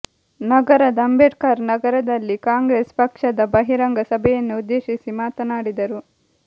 ನಗರದ ಅಂಬೇಡ್ಕರ್ ನಗರದಲ್ಲಿ ಕಾಂಗ್ರೆಸ್ ಪಕ್ಷದ ಬಹಿರಂಗ ಸಭೆಯನ್ನು ಉದ್ದೇಶಿಸಿ ಮಾತನಾಡಿದರು